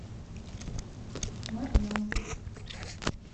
марьям